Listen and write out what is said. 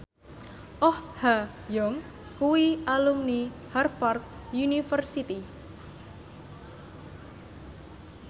Oh Ha Young kuwi alumni Harvard university